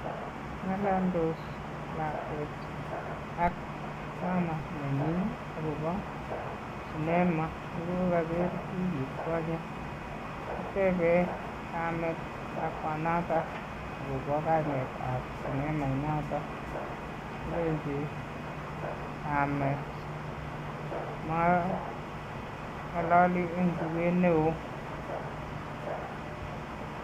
Ng'alaldos lakwet ak mama nanyi akopo cinema nekokaker wikit konye. Kotebe kamet lakwanato akopo kainetap cinema inoto, kolechi kamet mang'alali en tuket neo.